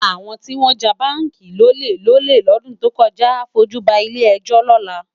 Awòn tiwòn já bánki lólé lòlé lòdún tókòjá á fójú bá ilé èjò lòlá